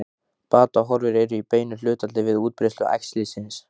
Batahorfur eru í beinu hlutfalli við útbreiðslu æxlisins.